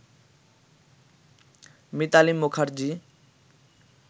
Mitali Mukherjee